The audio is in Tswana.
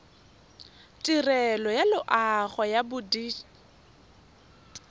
tirelo ya loago ya bodit